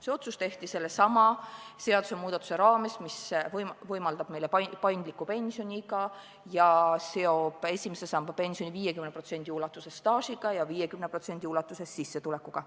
See otsus tehti sellesama seadusemuudatuse raames, mis võimaldab paindlikku pensioniiga ja seob esimese samba pensioni 50% ulatuses staažiga ja 50% ulatuses sissetulekuga.